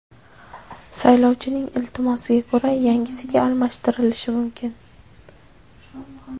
Saylovchining iltimosiga ko‘ra yangisiga almashtirilishi mumkin.